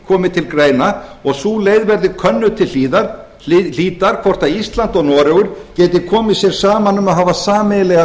komi til greina og sú leið verði könnuð til hlítar hvort ísland og noregur geti komið sér saman um að hafa sameiginlega